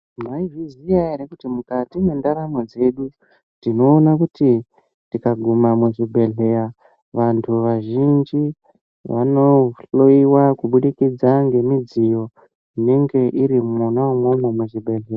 Maizviziva here kuti mukati mwendaramo dzedu tinoona kuti tikaguma muzvibhedhlera vantu vazhinji vanohloiwa kubudikidza ngemidziyo inenge iri mona imomo muzvibhedhlera.